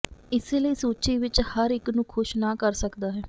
ਇਸੇ ਲਈ ਸੂਚੀ ਵਿੱਚ ਹਰ ਇੱਕ ਨੂੰ ਖੁਸ਼ ਨਾ ਕਰ ਸਕਦਾ ਹੈ